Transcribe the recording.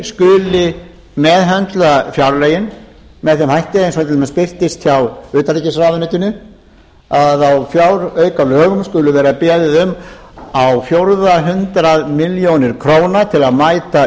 skuli meðhöndla fjárlögin með þeim hætti eins og til dæmis birtist hjá utanríkisráðuneytinu að á fjáraukalögum skuli vera beðið um á fjórða hundrað milljóna króna til að mæta